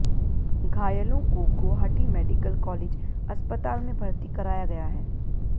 घायलों को Guwahati medical college अस्पताल में भर्ती कराया गया है